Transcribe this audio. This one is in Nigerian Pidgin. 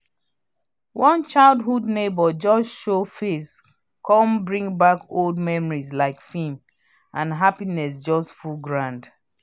one childhood neighbour just show face come bring back old memories like film and happinss just full ground